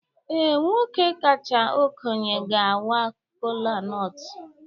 Ee, nwoke kacha okenye ga-awa kolanut.